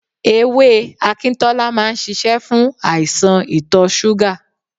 Ewé Akintola máa ń ṣíṣe fún àìsàn itọ̀ súgà.